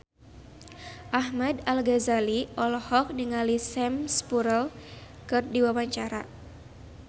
Ahmad Al-Ghazali olohok ningali Sam Spruell keur diwawancara